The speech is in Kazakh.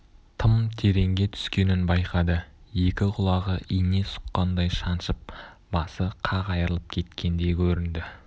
тым тереңге түскенін байқады екі құлағы ине сұққандай шаншып басы қақ айырылып кеткендей көрінді